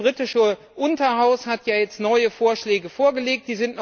Das britische Unterhaus hat jetzt neue Vorschläge vorgelegt.